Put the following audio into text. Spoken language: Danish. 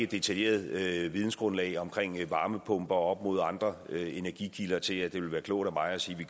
detaljeret nok vidensgrundlag om varmepumper op mod andre energikilder til at det vil være klogt af mig at sige